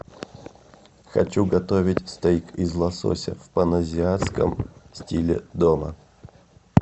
хочу готовить стейк из лосося в паназиатском стиле дома